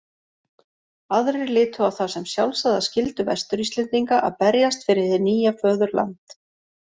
Aðrir litu á það sem sjálfsagða skyldu Vestur-Íslendinga að berjast fyrir hið nýja föðurland.